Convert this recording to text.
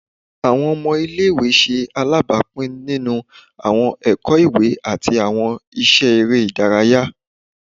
Awọn ọmọ ile-iwe ṣe alabapin ninu awọn ẹkọ iwe ati awọn iṣẹ ere idaraya